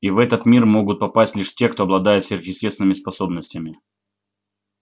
и в этот мир могут попасть лишь те кто обладает сверхъестественными способностями